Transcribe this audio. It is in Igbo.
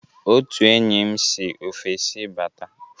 Otu enyi m si ofesi bata.